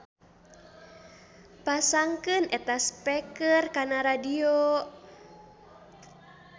Pasangkeun eta speaker kana radio.